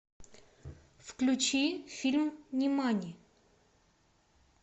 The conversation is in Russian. включи фильм нимани